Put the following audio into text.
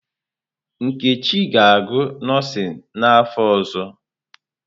Nkechi ga-agụ nọọsịn n'afọ ọzọ.